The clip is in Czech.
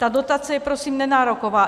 Ta dotace je prosím nenároková.